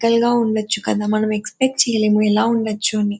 గా ఉండొచ్చు కదా. మనం ఎక్స్పెక్ట్ చేయలేము. ఎలా ఉండొచ్చు అని.